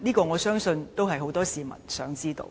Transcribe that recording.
我相信很多市民也想知道。